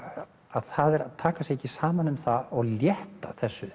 það er að taka sig ekki saman um það og létta þessu